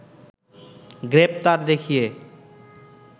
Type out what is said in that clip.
গ্রেপ্তার দেখিয়ে